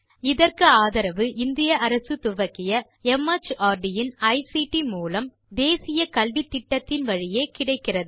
இதற்கு ஆதரவு இந்திய அரசு துவக்கிய மார்ட் இன் ஐசிடி மூலம் தேசிய கல்வித்திட்டத்தின் வழியே கிடைக்கிறது